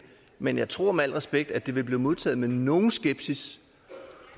men jeg tror med al respekt at det vil blive modtaget med nogen skepsis